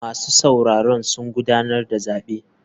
Masu sauraro sun gudanar da zabe.